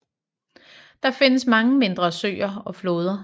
Der findes mange mindre søer og floder